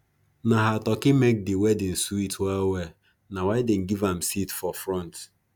na her turkey make the wedding sweet well well na why them give am seat for front